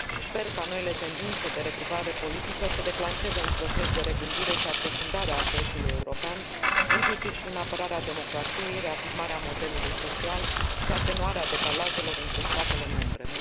Sper ca noile tendințe de regrupare politică să declanșeze un proces de regândire și aprofundare a Proiectului european, inclusiv prin apărarea democrației, reafirmarea modelului social și atenuarea decalajelor între statele membre.